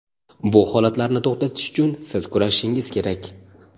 Bu holatlarni to‘xtatish uchun siz kurashishingiz kerak.